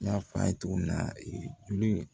N y'a f'a ye cogo min na juru